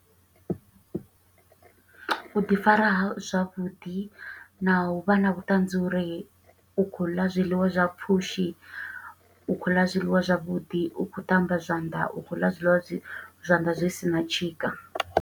U ḓi fara zwavhuḓi na u vha na vhuṱanzi uri u khou ḽa zwiḽiwa zwa pfushi, u khou ḽa zwiḽiwa zwavhuḓi, u khou ṱamba zwanḓa, u khou ḽa zwiḽiwa zwi, zwanḓa zwi sina tshika.